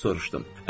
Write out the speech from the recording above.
Soruşdum.